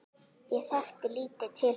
Ég þekkti lítið til hans.